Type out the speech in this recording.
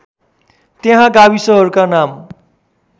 त्यहाँ गाविसहरूका नाम